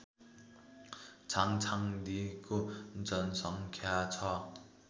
छाङछाङदीको जनसङ्ख्या छ